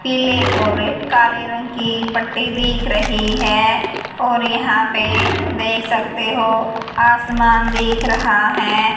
पीले और काले रंग की पट्टी दिख रही है और यहां पे देख सकते हो आसमान दिख रहा है।